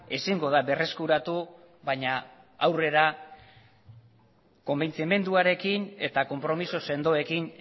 ezingo da berreskuratu baina aurrera konbentzimenduarekin eta konpromiso sendoekin